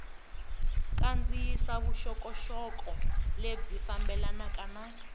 kandziyisa vuxokoxoko lebyi fambelanaka na